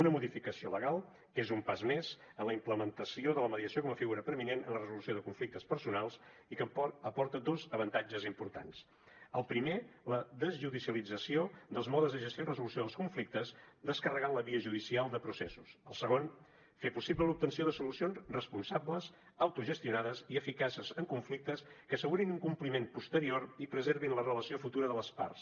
una modificació legal que és un pas més en la implementació de la mediació com a figura preeminent en la resolució de conflictes personals i que aporta dos avantatges importants el primer la desjudicialització dels modes de gestió i resolució dels conflictes i descarregar la via judicial de processos el segon fer possible l’obtenció de solucions responsables autogestionades i eficaces en conflictes que assegurin un compliment posterior i preservin la relació futura de les parts